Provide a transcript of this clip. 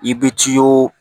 I bɛ tiyo